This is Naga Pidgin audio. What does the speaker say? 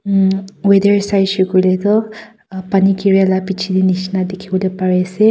emm weather saishae koilae pani gira laa bichi dae nishina dikipolae pari asae.